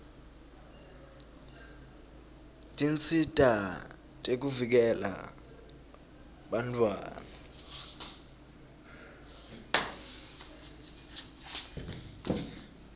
tinsita tekuvikela bantfwana